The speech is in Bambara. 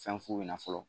Fɛn fu ɲɛna fɔlɔ